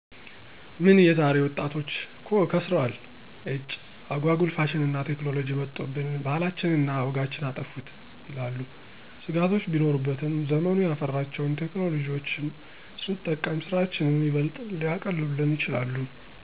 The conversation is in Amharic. "ምን የዛሬ ጊዜ ወጣቶች እኮ ከሰረዋል። ኢጭ! አጓጉል ፋሽንና ቴክኖሎጅ መጦብን፤ ባህላችንን እና ወጋችንን አጠፉት" ይላሉ። ስጋቶች ቢኖሩበትም ዘመኑ ያፈራቸውን ቴክኖሎጅዎች ስንጠቀም ስራችንን ይበልጥ ሊያቀሉልን ይችላሉ።